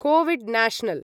COVID national